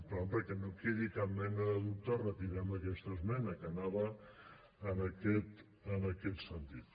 però perquè no quedi cap mena de dubte retirem aquesta esmena que anava en aquest sentit